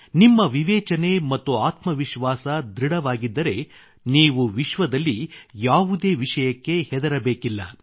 ನಿಮ್ಮ ವಿವೇಚನೆ ಮತ್ತು ಆತ್ಮವಿಶ್ವಾಸ ಧೃಡವಾಗಿದ್ದರೆ ನೀವು ವಿಶ್ವದಲ್ಲಿ ಯಾವುದೇ ವಿಷಯಕ್ಕೆ ಹೆದರಬೇಕಿಲ್ಲ